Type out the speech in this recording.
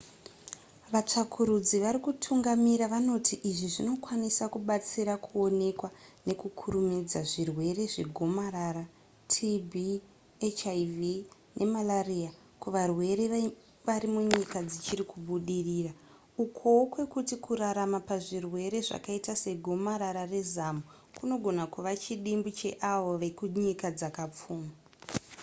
vatsvakurudzi vari kutungamira vanoti izvi zvinokwanisa kubatsira kuonekwa nekukurumidza zvirwere zvegomarara tb hiv nemalaria kuvarwere varimunyika dzichiri kubudirira ukowo kwekuti kurarama pazvirwere zvakaita segomarara rezamu kunogona kuva chidimbu cheavo vekunyika dzakapfuma